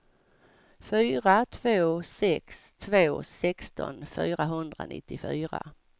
fyra två sex två sexton fyrahundranittiofyra